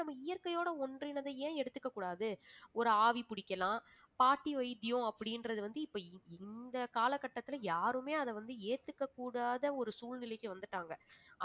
நம்ம இயற்கையோட ஒன்றிணைந்து ஏன் எடுத்துக்க கூடாது ஒரு ஆவி புடிக்கலாம் பாட்டி வைத்தியம் அப்படின்றது வந்து இப்ப இந்த காலகட்டத்துல யாருமே அதை வந்து ஏத்துக்கக்கூடாத ஒரு சூழ்நிலைக்கு வந்துட்டாங்க